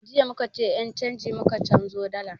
Jiya muka je ƴan canji muka canzo dalar